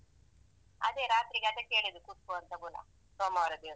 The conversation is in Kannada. ಅದೇ ರಾತ್ರಿಗೆ ಅದಕ್ಕೆ ಹೇಳಿದ್ದು ಕುತ್ಕೋ ಅಂತ ಪುನಃ, ಸೋಮವಾರ ದಿವಸ.